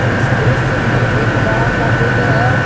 इस दृश्य में एक बड़ा सा फील्ड है।